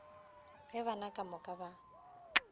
ge bana ka moka ba